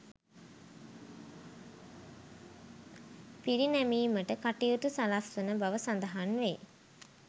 පිරිනැමීමට කටයුතු සලස්වන බව සඳහන් වේ.